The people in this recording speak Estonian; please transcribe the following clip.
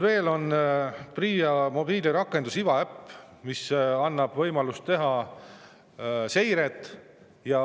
Veel on PRIA mobiilirakendus Iva äpp, mis annab võimaluse teha seiret.